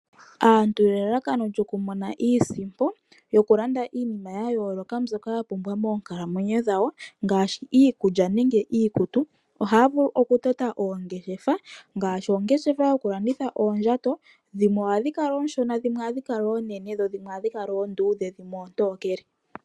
Aantu nelelakano lyokumona iisimpo yokulanda iinima ya yooloka mbyoka ya pumbwa moonkalamwenyo dhawo ngaashi iikulya nenge iikutu, ohaya vulu okutota oongeshefa ngaashi oongeshefa yokulanditha oondjato dhimwe ohadhi kala ooshona dhimwe ohadhi kala oonene, dho dhimwe ohadhi kala oonduudhe dhimwe oontokele.